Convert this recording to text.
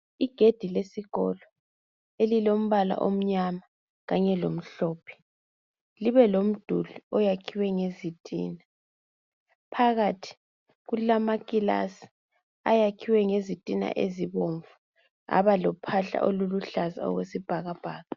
Igedi lesikolo elilombala omnyana kanye lomhlophe, libe lomduli oyakhiweyo ngezitina. Phakathi kulama kilasi ayakhiweyo ngezitina ezibomvu aba lophahla oluluhlaza okwesibhakabhaka.